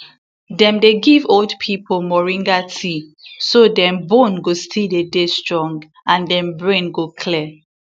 dem dey give old pipo moringa tea so dem bone go still dey dey strong and dem brain go clear